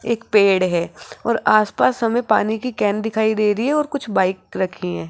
एक पेड़ है और आस पास हमें पानी की कैन दिखाई दे रही है और कुछ बाइक रखी हैं।